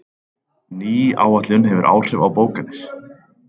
Ný áætlun hefur áhrif á bókanir